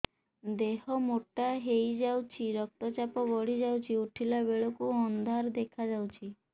ଦେହ ମୋଟା ହେଇଯାଉଛି ରକ୍ତ ଚାପ ବଢ଼ି ଯାଉଛି ଉଠିଲା ବେଳକୁ ଅନ୍ଧାର ଦେଖା ଯାଉଛି